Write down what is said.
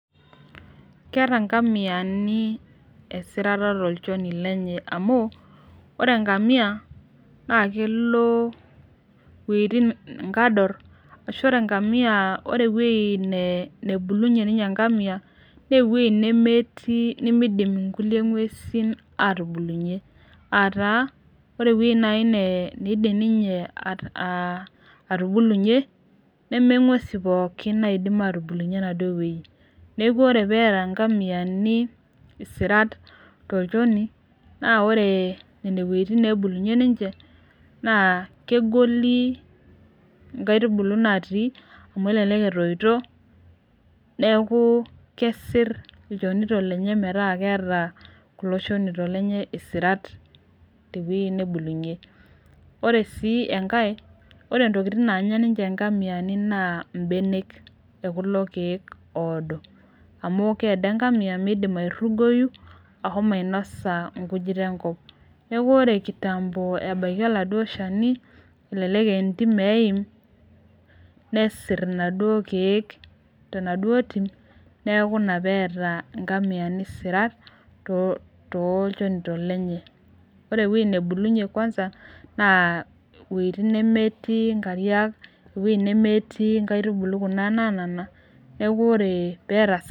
keeta ngamiani, esirata tolchoni lenye, amu ore engamia na kelo iweujitin kador, ashu ore engamia ore eweuji nebulunyi ninye enkamia na weuji nemeti nimidim inkulie ngwesin atubulunyie, ata ore eweuji nai naa naidim ninye atubulunyie neme ngwesin pooki naidim atubulunyie ena duo weuji niaku ore peeta ngamiani isirat tolchoni na ore nena weujitin nabulunyie ninche na kegoli inkaitubulu nati amu elelek etoito, niaku kesir ilchonito lenye meeta keeta kulo shonito lenye isirat teweuji nebulunyie, ore si enkae ore ntokitin nanya ninche ingamiani na ibenek okulo keek odoo amu kiado engamia midim arungoyu, ahomo ainosa inkujit nenkop, niaku ore kitambo ebaiki oladuo shani elelek aaa entim eim nesir iladuo kek tenaduo tim niaku ina peata ngamiani isirat tolchonito lenye, ore eweuji nabulunyie kwanza na iweujiti nemetii inkariak nemetii ikaitubulu kuna nanana. niaku ore peeta isi.........